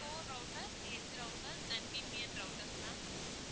core router edge router and VPN routers ma'am